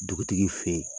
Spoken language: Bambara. Dugutigi fɛ ye